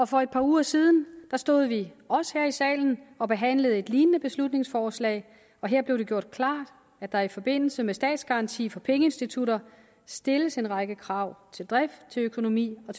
for et par uger siden stod vi også her i salen og behandlede et lignende beslutningsforslag og her blev det gjort klart at der i forbindelse med statsgaranti for pengeinstitutter stilles en række krav til drift økonomi og